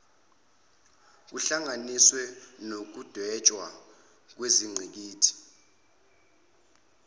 kuhlanganise nokudwetshwa kwengqikithi